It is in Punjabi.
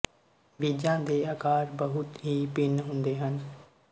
ਬੀਜਾਂ ਦੇ ਆਕਾਰ ਬਹੁਤ ਹੀ ਭਿੰਨ ਹੁੰਦੇ ਹਨ